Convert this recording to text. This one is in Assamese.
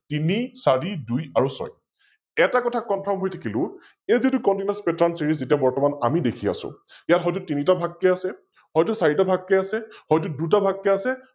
তিনি, ছৰি, দুই আৰু ছয় । এটা কথা Confirm হৈ থাকিলো, এই যিতো Continuous, Pattern, Series যেতিয়া বৰ্ত্তমান আমি দেখি আছো, ইয়াত হয়তো তিনিতা ভাগ কৈ আছে, হয়তো চাৰিটা ভাগকৈ আছে, হয়তো দুটা ভাগকৈ আছে